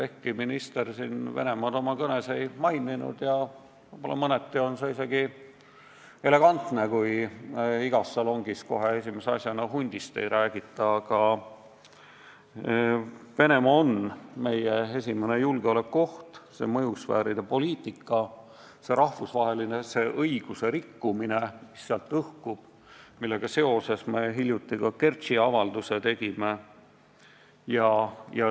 Ehkki minister Venemaad oma kõnes ei maininud – mõneti on see isegi elegantne, kui igas salongis kohe esimese asjana hundist ei räägita –, on meie esimene julgeolekuoht Venemaa, see mõjusfääride poliitika, see rahvusvahelise õiguse rikkumine, mis sealt õhkub, millega seoses me hiljuti ka Kertši sündmuste teemal avalduse tegime.